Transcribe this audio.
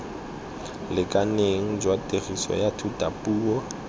lekaneng jwa tiriso ya thutapuo